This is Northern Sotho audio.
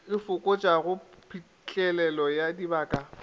e fokotšago phitlhelelo ya dibaka